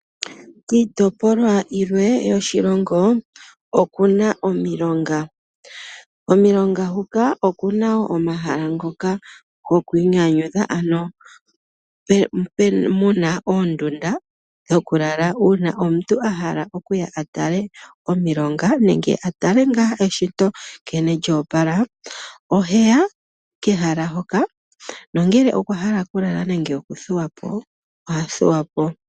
Kiitopolwa yimwe yoshilongo oku na omilonga. Komilonga huka oku na wo omahala ngoka gokwiinyanyudha ano muna oondunda dhoku lala uuna omuntu a hala e ye a tale omilonga nenge a tale ngaa eshito nlene lyo opala, ohe ya kehala hoka nongele okwa hala oku lala nenge oku thuwa po, oha thuwa po.